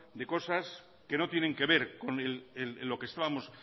de cosas que no tienen que ver con lo que estábamos